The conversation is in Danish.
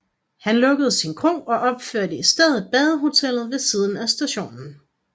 Han lukkede sin kro og opførte i stedet badehotellet ved siden af stationen